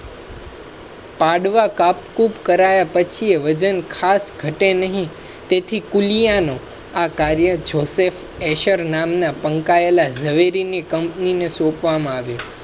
પાડવા કાપ કૂપ કરાયા પછી વજન ખાસ ઘટે નહીં. તેથી આ કાર્ય joseph heser નામના પંકાયેલા ઝવેરી ની કંપની ને સોંપવા માં આવ્યું